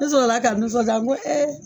Ne sɔrɔla ka nisɔndiya n ko